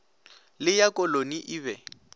le ya koloni e be